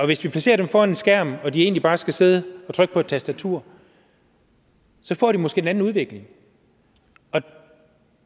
hvis vi placerer dem foran en skærm og de egentlig bare skal sidde og trykke på et tastatur får de måske en anden udvikling